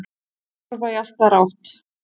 Ég var að horfa í allt aðra átt.